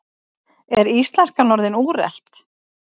Er íslenskan orðin úrelt?